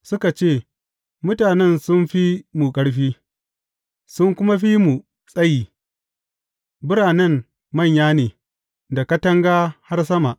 Suka ce, Mutanen sun fi mu ƙarfi, sun kuma fi mu tsayi; biranen manya ne, da katanga har sama.